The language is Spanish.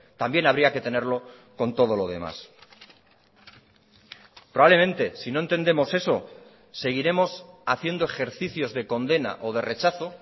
también habría que tenerlo con todo lo demás probablemente si no entendemos eso seguiremos haciendo ejercicios de condena o de rechazo